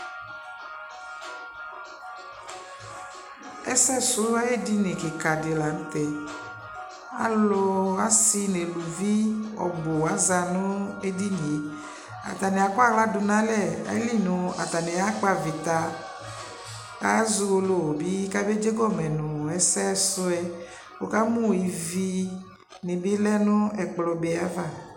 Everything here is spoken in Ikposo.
Ɛsɛslɔ ay'edini kɩkadɩ la n'tɛɛ: alʋ asɩ n'eluvi ɔbʋ aza nʋ edinie; atanɩ akɔaɣla dʋ n'alɛ ayili nʋ atanɩ akp' avɩta , k'az'uwolowʋ bɩ k'abe dzegɔmɛ nʋ ɛsɛslɔɛ Wuka mʋ ivinɩ bɩ lɛ n'ɛkplɔbee ava